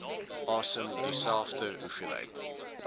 asem dieselfde hoeveelheid